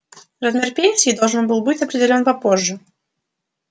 размер пенсии должен был быть определён попозже